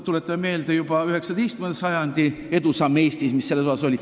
Tuletame meelde, et juba 19. sajandil oli Eestis sellel alal edusamme.